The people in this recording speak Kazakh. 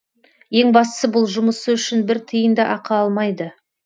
ең бастысы бұл жұмысы үшін бір тиын да ақы алмайды